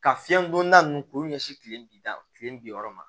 Ka fiɲɛ don da nunnu k'olu ɲɛsin kile bida kile bi wɔɔrɔ ma